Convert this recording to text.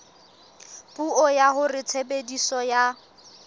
puo ya hore tshebediso ya